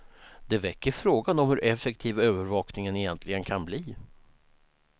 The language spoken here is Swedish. Det väcker frågan om hur effektiv övervakningen egentligen kan bli.